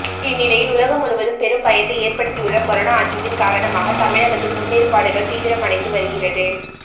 இந்த நிலையில் உலகம் முழுவதும் பெரும் பயத்தை ஏற்படுத்தியுள்ள கொரோனா அச்சத்தின் காரணமாக தமிழகத்தில் முன்னேற்பாடுகள் தீவிரம் அடைந்து வருகிறது